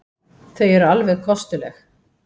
Þau eru alveg kostuleg.